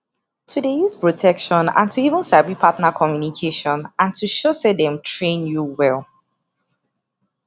to dey use protection and to even sabi partner communication and to show say dem train you well